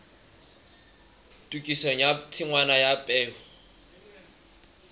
tokisong ya tshingwana ya peo